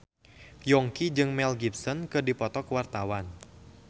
Yongki jeung Mel Gibson keur dipoto ku wartawan